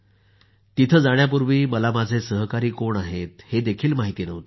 तिथं जाण्यापूर्वी मला माझे सहकारी कोण आहेत हे माहित नव्हतं